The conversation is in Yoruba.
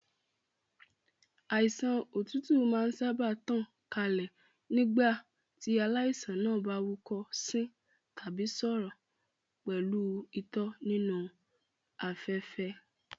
Àìsàn òtútù máa ń sáábà tàn kálẹ̀ nígbà tí aláìsàn náà bá húkọ́, sín tàbí sọ̀rọ̀ pẹ̀lú itọ́ nínú afẹ́fẹ́.